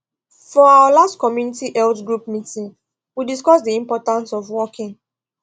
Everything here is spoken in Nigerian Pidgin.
for our last community health group meeting we discuss the importance of walking